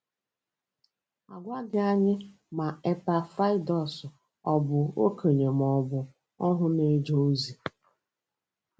A gwaghị anyị ma Epafrọdaịtọs ọ̀ bụ okenye ma ọ bụ ohu na-eje ozi.